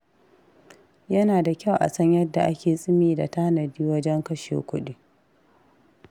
Yana da kyau a san yadda ake tsimi da tanadi wajen kashe kuɗi.